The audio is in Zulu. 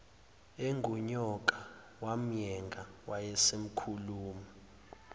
engunyoka yamyenga wayesekhuluma